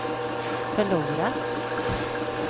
förlorat